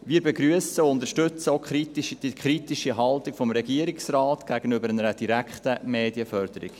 Wir begrüssen und unterstützen auch die kritische Haltung des Regierungsrates gegenüber einer direkten Medienförderung.